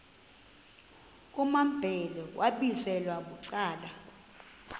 kumambhele wambizela bucala